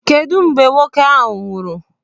Kedụ mgbe nwoke ahụ nwụrụ?